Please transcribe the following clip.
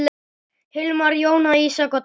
Hilmar, Jóna, Ísak og Daníel.